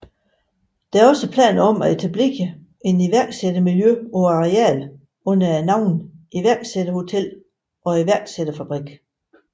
Der er også planer om at etablere et iværksættermiljø på arealet under navnene Iværksætterhotellet og Iværksætterfabrikken